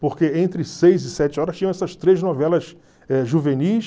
Porque entre seis e sete horas tinham essas três novelas eh juvenis.